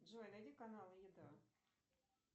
джой найди каналы еда